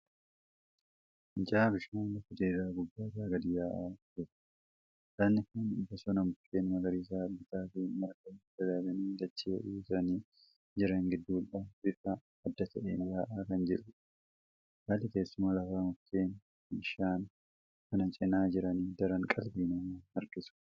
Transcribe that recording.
Fincaa'aa bishaanii lafa diriiraa gubbaa irraa gadi yaa'aa jiru. Lagni kun bosona mukeen magariisa bitaa fi mirgaan dagaaganii dachee uwwisanii jiran gidduudhaa bifa addaateen yaa'aa kan jirudha. Haalli teessuma lafaa mukeen bishaan kana cinaa jiran daran qalbii namaa harkisu.